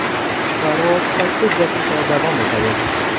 Parvoz sakkiz daqiqa davom etadi.